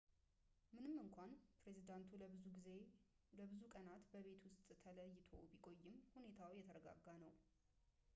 ምንም እንኳን ፕሬዚዳንቱ ለብዙ ቀናት በቤት ውስጥ ተለይቶ ቢቆይም ሁኔታው የተረጋጋ ነው